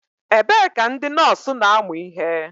Ebee ka ndị nọọsụ na-amụ ihe?